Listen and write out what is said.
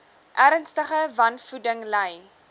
ernstige wanvoeding ly